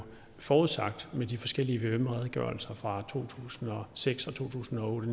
forudsagt med de forskellige vvm redegørelser fra to tusind og seks og to tusind og otte